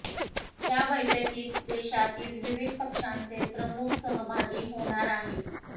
या बैठकीत देशातील विविध पक्षांचे प्रमुख सहभागी होणार आहेत